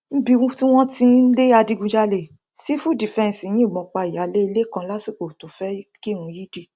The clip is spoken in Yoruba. nbi tí wọn ti ń lé adigunjalè sífù dífẹǹsì yìnbọn pa ìyáálé ilé kan lásìkò tó fẹẹ kírun yídì